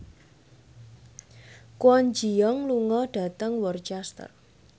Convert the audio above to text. Kwon Ji Yong lunga dhateng Worcester